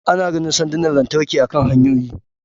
Ana ganin sandunan lantarki akan hanyoyi